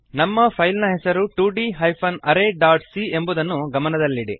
ನಮ್ಮ ಫೈಲ್ ನ ಹೆಸರು 2d arrayಸಿಎ ಎಂಬುದನ್ನು ಗಮನದಲ್ಲಿಡಿ